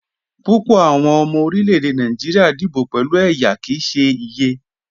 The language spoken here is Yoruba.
Púpọ̀ awọn ọmọ orílẹ̀-èdè Nàìjíríà díbò pẹ̀lú ẹyá kí í ṣè iyẹ.